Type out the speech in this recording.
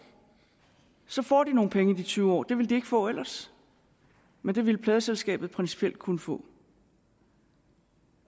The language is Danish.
så får de nogle penge i de tyve år det vil de ikke få ellers men det ville pladeselskabet principielt kunne få